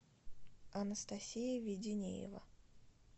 анастасия веденеева